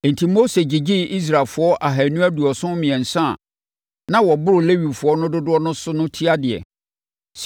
Enti Mose gyegyee Israelfoɔ ahanu aduɔson mmiɛnsa a na wɔboro Lewifoɔ no dodoɔ so no tiadeɛ.